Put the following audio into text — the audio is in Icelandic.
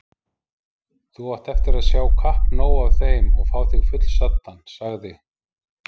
Þú átt eftir að sjá kappnóg af þeim og fá þig fullsaddan, sagði